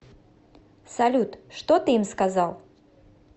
салют что ты им сказал